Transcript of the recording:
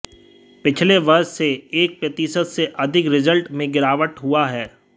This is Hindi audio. पिछले वर्ष से एक प्रतिशत से अधिक रिजल्ट में गिरावट हुआ है